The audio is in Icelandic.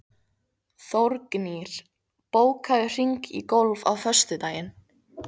Þórgnýr, bókaðu hring í golf á föstudaginn.